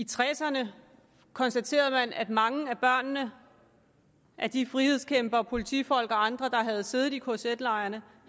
tres ’erne konstaterede man at mange af børnene af de frihedskæmpere politifolk og andre der havde siddet i kz lejrene